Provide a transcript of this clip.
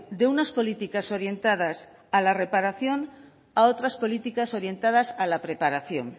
de unas políticas orientadas a la reparación a otras políticas orientadas a la preparación